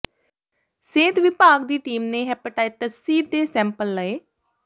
ਸਿਹਤ ਵਿਭਾਗ ਦੀ ਟੀਮ ਨੇ ਹੈਪੇਟਾਈਟਸ ਸੀ ਦੇ ਸੈਂਪਲ ਲਏ